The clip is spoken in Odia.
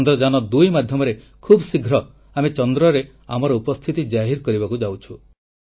ଚନ୍ଦ୍ରଯାନ2 ମାଧ୍ୟମରେ ଖୁବ୍ ଶୀଘ୍ର ଆମେ ଚନ୍ଦ୍ରରେ ଭାରତର ଉପସ୍ଥିତି ଜାହିର କରିବାକୁ ସକ୍ଷମ ହେବୁ